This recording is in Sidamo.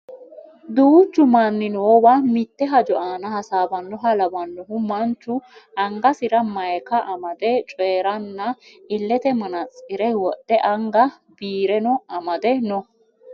Duuchu manni noowa mitte hajo aana hasaawannoha lawannohu manchu angasira mayeeka amade coyeeranna illete manantsire wodhe anga biireno amade no